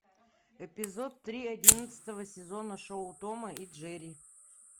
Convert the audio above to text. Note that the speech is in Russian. эпизод три одиннадцатого сезона шоу тома и джерри